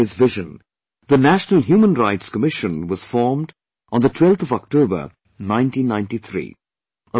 Inspired by his vision, the 'National Human Rights Commission' NHRC was formed on 12th October 1993